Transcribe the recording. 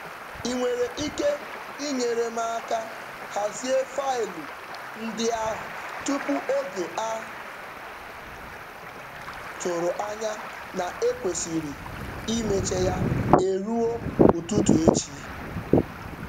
Ị nwere ike inyere m aka hazie faịlụ ndị ahụ tupu oge a tụrụ anya na e kwesịrị imecha ya eruo ụtụtụ echi?